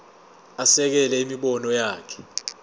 asekele imibono yakhe